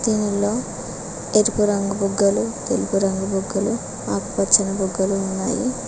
దీనిలో ఎరుపు రంగు బుగ్గలు తెలుపు రంగు బుగ్గలు ఆకుపచ్చని బుగ్గలు ఉన్నాయి.